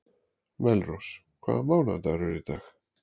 Melrós, hvaða mánaðardagur er í dag?